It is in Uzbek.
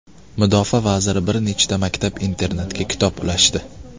Mudofaa vaziri bir nechta maktab-internatga kitob ulashdi .